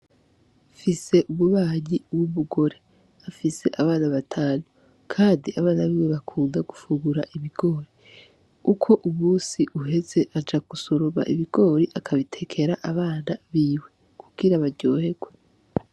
Mfise umubanyi w’ubugore, afise abana batanu. Kandi abana biwe bakunda gufungura ibigori. Uko umusi uheze aja gusoroma ibigori akabitekera abana biwe kugira baryoherwe.